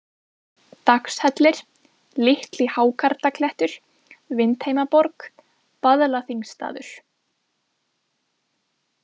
Dagshellir, Litli-Hákarlaklettur, Vindheimaborg, Vaðlaþingstaður